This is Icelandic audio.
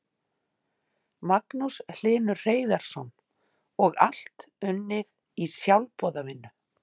Magnús Hlynur Hreiðarsson: Og allt unnið í sjálfboðavinnu?